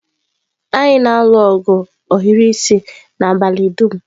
Anyị na-alụ ogu ohiri isi n'abalị dum.